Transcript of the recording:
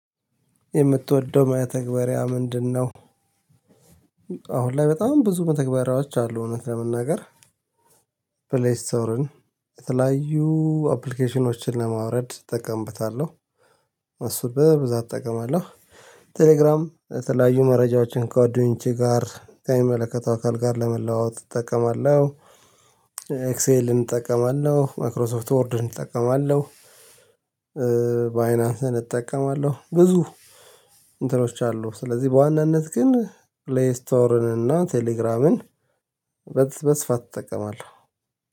የምትወደው መተግባሪያ ምንድነው? አሁን ላይ በጣም ብዙ መተግባሪያዎች አሉ እውነት ለመናገር ፕሌስቶርን የተለያዩ አፕሊኬሽኖችን ለማውረድ እጠቀምብታለሁ። እሱ በብዛት እጠቀማለሁ። ቴሌግራም የተለያዩ መረጃዎችን ካጓደኞቼ ጋር ከሚመለከተው አካል ጋር ለመለዋወጥ እጠቀማለሁ። ኤክሴልን እጠቀማለሁ ማክሮሶፍት ዎርድን እጠቀማለሁ። በአይናንስን እጠቀማለሁ ብዙ እንትኖች አሉ ስለዚህ በዋናነት ግን ፕሌይ ስቶርን እና ቴሌግራምን በስፋት እጠቀማለሁ